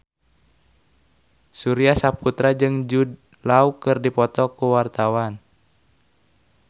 Surya Saputra jeung Jude Law keur dipoto ku wartawan